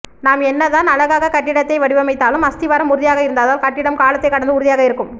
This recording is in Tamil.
நாம் என்னதான் அழகாகக் கட்டிடத்தை வடிவமைத்தாலும் அஸ்திவாரம் உறுதியாக இருந்தால்தான் கட்டிடம் காலத்தை கடந்து உறுதியாக இருக்கும்